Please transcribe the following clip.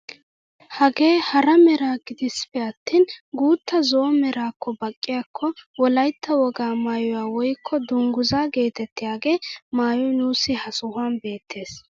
Hagee hara mera gidiis peattin guuta zo'o meraakko baqqiyaakko wolaytta wogaa mayuwaa woykko dunguzaa geetettiyaagee maayoy nuusi ha sohuwaan beettes.